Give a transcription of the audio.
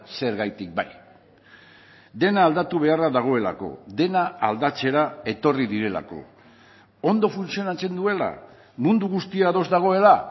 zergatik bai dena aldatu beharra dagoelako dena aldatzera etorri direlako ondo funtzionatzen duela mundu guztia ados dagoela